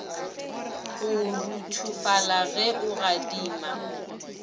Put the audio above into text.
go ruthofala ge a gadima